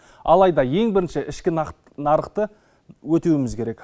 алайда ең бірінші ішкі нарықты өтеуіміз керек